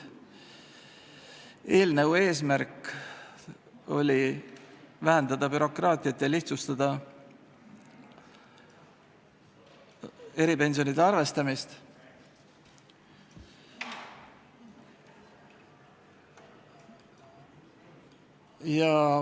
Eelnõu eesmärk on vähendada bürokraatiat ja lihtsustada eripensionide arvestamist.